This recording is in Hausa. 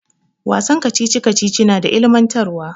Wasan kacici kacici na ilimintarwa.